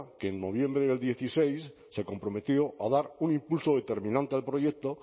que en noviembre del dieciséis se comprometió a dar un impulso determinante del proyecto